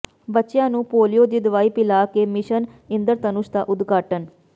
ਬੱਚਿਆਂ ਨੂੰ ਪੋਲੀਓ ਦੀ ਦਵਾਈ ਪਿਲਾ ਕੇ ਮਿਸ਼ਨ ਇੰਦਰਧਨੁਸ਼ ਦਾ ਉਦਘਾਟਨ